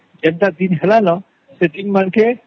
ଏନ୍ତା ଜେଠି ହେଲନ ସେଠି ମାତ୍ରକେ